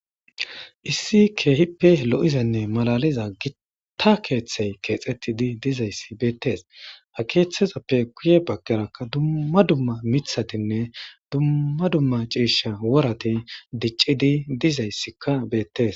issi keehippe lo7izanne malaliza gitta keeththey keexettidi dizayssi beettes hakeeththezappe kuye baggerakka dummma dumma mithatinne dumma dumma ciisha worati diccidi dizayssikka beettes